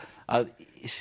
að